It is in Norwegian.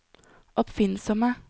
oppfinnsomme